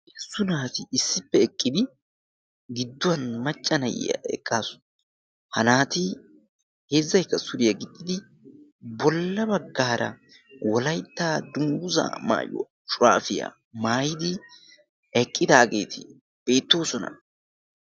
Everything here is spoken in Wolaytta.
Heezzu naati issippe eqqidi gidduwan maccanayiyaa eqqaasu. ha naati heezzayka suriyaa giddidi bolla baggaara wolayttaa dunggusa maayu shuraafiyaa maayidi eqqidaageeti beettoosona.